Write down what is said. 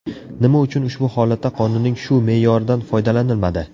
Nima uchun ushbu holatda qonunning shu me’yoridan foydalanilmadi?